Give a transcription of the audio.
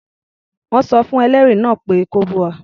Wọ́n sọ fún ẹlẹ́rìí náà kó búra.